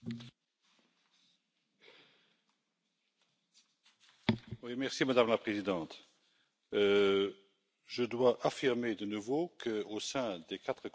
Madame la Présidente, je dois affirmer de nouveau qu'au sein des quatre corapporteurs, nous avons discuté franchement, ouvertement.